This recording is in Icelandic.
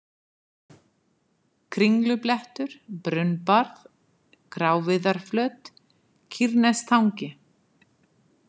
Kringlublettur, Brunnbarð, Gráviðarflöt, Kýrnestangi